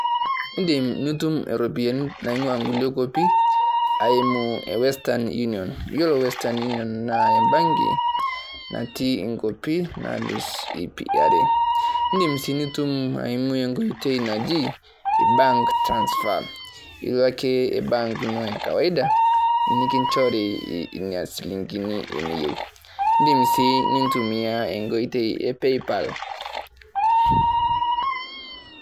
Idim nitum irropiyiani naing`uaa nkulie kuapi aimu western union. Yiolo western union naa e mbanki natii nkuapi naalus iip are. Idim sii nitum eimu enkoitoi naji bank transfer, ilo ake bank ino e kawaida nikinchori ina shilingini eniyieu. Idim sii nintumia enkoitoi e paypal.